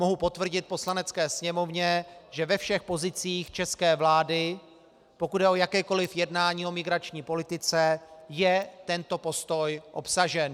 Mohu potvrdit Poslanecké sněmovně, že ve všech pozicích české vlády, pokud jde o jakékoliv jednání o migrační politice, je tento postoj obsažen.